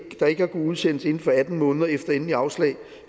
der ikke har kunnet udsendes inden for atten måneder efter endeligt afslag